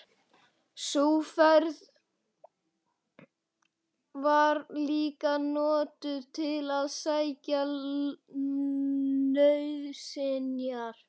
Sú ferð var líka notuð til að sækja nauðsynjar.